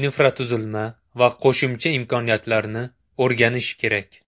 infratuzilma va qo‘shimcha imkoniyatlarni o‘rganish kerak.